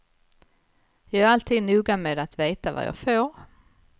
Jag är alltid noga med att veta vad jag får.